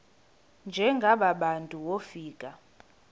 njengaba bantu wofika